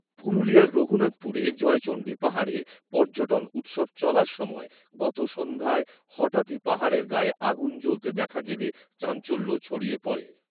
পুরুলিয়ার রঘুনাথপুরে জয়চণ্ডী পাহাড়ে পর্যটন উৎসব চলার সময় গত সন্ধ্যায় হঠাৎই পাহাড়ের গায়ে আগুন জ্বলতে দেখা গেলে, চাঞ্চল্য ছড়িয়ে